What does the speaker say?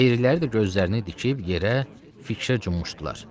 Qeyriləri də gözlərini dikib yerə, fikrə cumuşdular.